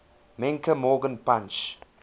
menke morgan punch